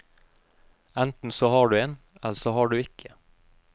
Enten så har du en, eller så har du ikke.